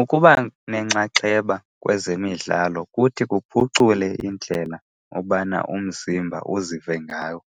Ukuba nenxaxheba kwezemidlalo kuthi kuphucule indlela ubana umzimba uzive ngawo.